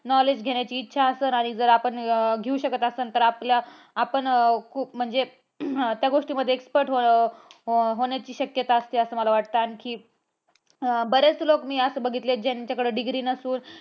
Knowledge घेण्याची इच्छा आसल आणि जर आपण घेऊ शकत असन तर आपण, आपल्या आपण खूप म्हणजे अह त्या गोष्टीमध्ये expert हो होण्याची शक्यता असते असं मला वाटतं. आणखी बरेच लोक मी असे बघितले आहे. ज्यांच्याकडे degree नसून